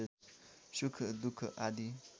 सुख दुख आदि